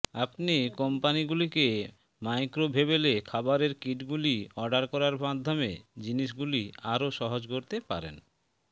আপনি কোম্পানিগুলিকে ম্যাক্রোভেবেলে খাবারের কিটগুলি অর্ডার করার মাধ্যমে জিনিসগুলি আরও সহজ করতে পারেন